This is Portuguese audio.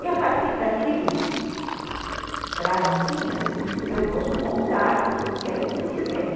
E a partir daquilo, frasezinhas, eu posso montar, e aí eu comecei a escrever.